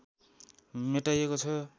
मेटाइएको छ